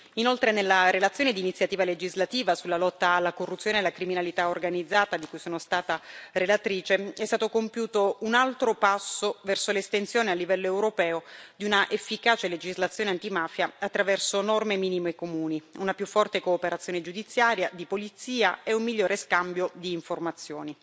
Inoltre, nella relazione di iniziativa legislativa sulla lotta alla corruzione e alla criminalità organizzata, di cui sono stata relatrice, è stato compiuto un altro passo verso l'estensione a livello europeo di una efficace legislazione antimafia attraverso norme minime comuni, una più forte cooperazione giudiziaria e di polizia e un migliore scambio di informazioni.